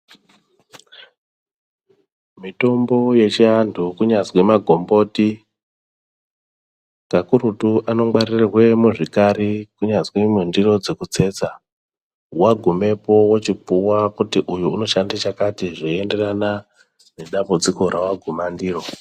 Mitombo yechi antu kunyazwi ma gomboti kakurutu ano ngwarirwe muzvikari kunyazwi mundiro dzeku tsetsa wa gumepo wochi puwa kuti uyu uno shande chakati zvei enderana ne dambudziko rawa guma ndiro.